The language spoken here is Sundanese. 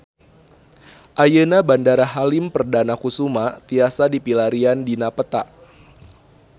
Ayeuna Bandara Halim Perdana Kusuma tiasa dipilarian dina peta